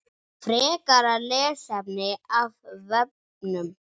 Frekara lesefni af vefnum